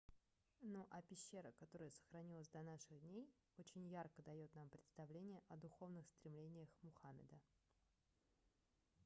ну а пещера которая сохранилась до наших дней очень ярко даёт нам представление о духовных стремлениях мухаммеда